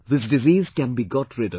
This disease can be got rid of